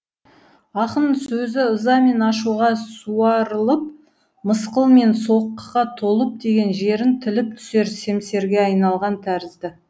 ақын сөзі ыза мен ашуға суарылып мысқыл мен соққыға толып тиген жерін тіліп түсер семсерге айналған тәрізді